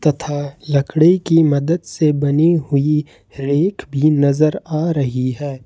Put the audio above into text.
तथा लकड़ी की मदद से बनी हुई रैक भी नजर आ रही है।